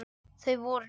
Þau voru